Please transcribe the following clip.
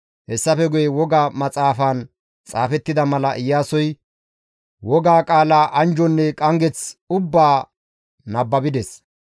Hessafe guye Woga Maxaafaan xaafettida mala Iyaasoy Woga qaalaa anjjonne qanggeth ubbaa nababides.